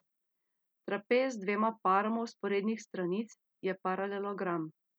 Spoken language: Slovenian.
Trapez z dvema paroma vzporednih stranic je paralelogram.